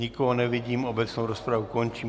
Nikoho nevidím, obecnou rozpravu končím.